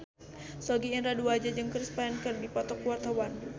Sogi Indra Duaja jeung Chris Pane keur dipoto ku wartawan